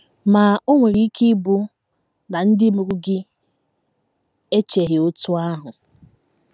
Ma, o nwere ike ịbụ na ndị mụrụ gị echeghị otú ahụ.